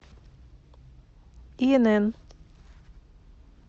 инн